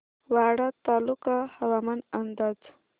वाडा तालुका हवामान अंदाज